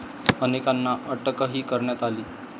अनेकांना अटकही करण्यात आली.